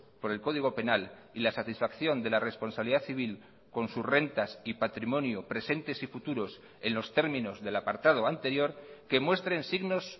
por el código penal y la satisfacción de la responsabilidad civil con sus rentas y patrimonio presentes y futuros en los términos del apartado anterior que muestren signos